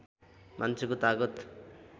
मान्छेको तागत